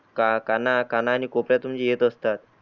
का काणा आणि कोपऱ्यातून येत असतात.